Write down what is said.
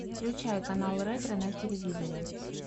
включай канал ретро на телевизоре